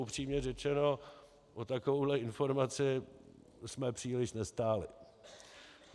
Upřímně řečeno o takovouhle informaci jsme příliš nestáli.